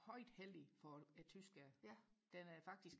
højt hellig for tyskerne den er faktisk